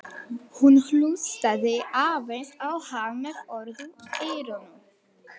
Hún hlustaði aðeins á hann með öðru eyranu.